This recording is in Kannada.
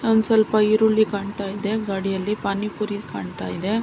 ಒಂದ ಸ್ವಲ್ಪ ಈರುಳ್ಳಿ ಕಾಣತ್ತಿದೆ ಗಾಡಿಯಲ್ಲಿ ಪಾನಿಪುರಿ ಕಾಣತ್ತಿದೆ.